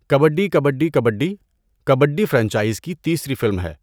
Kabaddi Kabaddi Kabaddi, Kabaddi franchise کی تیسری film ہے۔